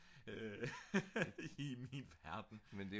i min verden